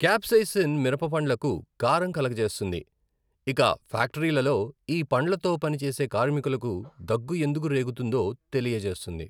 Capsaicin మిరపపండ్లకు కారం కలుగజేస్తుంది, ఇక ఫ్యాక్టరీలలో ఈ పండ్లతో పనిచేసే కార్మికులకు దగ్గు ఎందుకు రేగుతుందో తెలియజేస్తుంది.